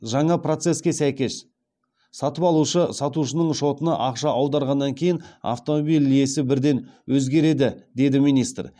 жаңа процеске сәйкес сатып алушы сатушының шотына ақша аударғаннан кейін автомобиль иесі бірден өзгереді деді министр